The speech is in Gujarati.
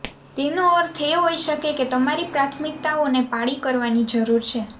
તેનો અર્થ એ હોઈ શકે કે તમારી પ્રાથમિકતાઓને પાળી કરવાની જરૂર છે